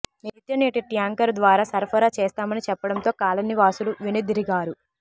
నిత్యం నీటి ట్యాంకరు ద్వారా సరఫరా చేస్తామని చెప్పడంతో కాలనీవాసులు వెనుదిరిగారు